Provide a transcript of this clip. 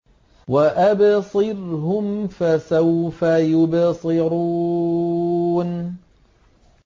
وَأَبْصِرْهُمْ فَسَوْفَ يُبْصِرُونَ